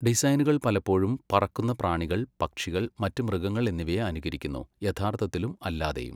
ഡിസൈനുകൾ പലപ്പോഴും പറക്കുന്ന പ്രാണികൾ, പക്ഷികൾ, മറ്റ് മൃഗങ്ങൾ എന്നിവയെ അനുകരിക്കുന്നു, യഥാർത്ഥത്തിലും അല്ലാതെയും.